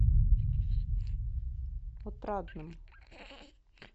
отрадным